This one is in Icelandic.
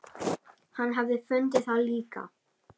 Hann hafi fundið það líka.